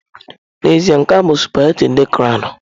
N'ezie, nke a bụ sụpaghetị ndị crọwnu.